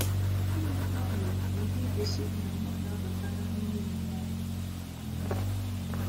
Gịnị mgbanwe bụ ihe gosiri na mmadụ agbatala n’ime mmụọ? mmụọ?